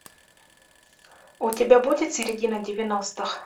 у тебя будет середина девяностых